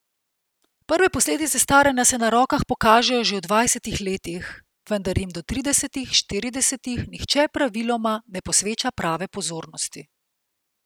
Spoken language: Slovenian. Prve posledice staranja se na rokah pokažejo že v dvajsetih letih, vendar jim do tridesetih, štiridesetih nihče praviloma ne posveča prave pozornosti.